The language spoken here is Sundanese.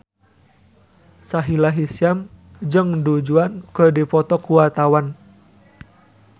Sahila Hisyam jeung Du Juan keur dipoto ku wartawan